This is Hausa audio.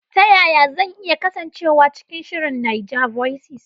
Ta yaya zan iya kasancewa cikin shirin NAIJAVOICES?